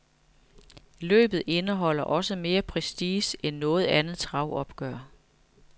Løbet indeholder også mere prestige end noget andet travopgør.